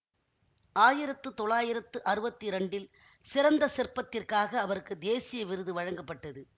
ஆயிரத்து தொள்ளாயிரத்து அறுவத்தி இரண்டில் சிறந்த சிற்பத்திற்காக அவருக்கு தேசிய விருது வழங்கப்பட்டது